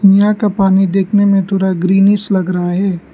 यहां का पानी देखने में पूरा ग्रीनीश लग रहा है।